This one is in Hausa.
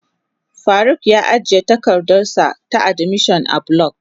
Faruk ya ajiye takardarsa ta admission a block.